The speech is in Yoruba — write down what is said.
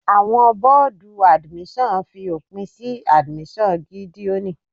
Àwọn bọ́ọ̀dù admission fi òpin sí admission Gídéoni.